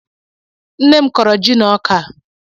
Nne m kọrọ ji na-ọkà